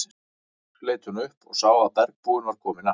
Loks leit hún upp og sá að bergbúinn var kominn aftur.